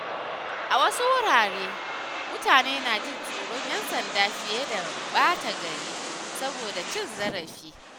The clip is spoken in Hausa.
A wasu wuraren, mutane na jin tsoron 'yan sanda fiye da ɓata gari saboda cin zarafi.